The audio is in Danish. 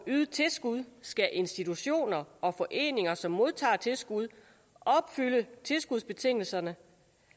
ydet tilskud skal institutioner og foreninger som modtager tilskud opfylde tilskudsbetingelserne